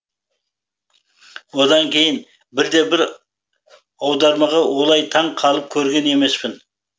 одан кейін бірде бір аудармаға олай таң қалып көрген емеспін